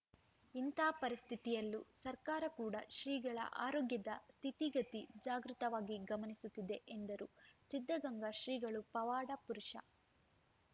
ಇಂಥ ಪರಿಸ್ಥಿತಿಯಲ್ಲೂ ಸರ್ಕಾರ ಕೂಡ ಶ್ರೀಗಳ ಆರೋಗ್ಯದ ಸ್ಥಿತಿಗತಿ ಜಾಗೃತವಾಗಿ ಗಮನಿಸುತ್ತಿದೆ ಎಂದರು ಸಿದ್ಧಗಂಗಾ ಶ್ರೀಗಳು ಪವಾಡ ಪುರುಷ